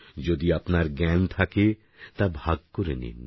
যদি আপনার জ্ঞান থাকে তা ভাগ করে নিন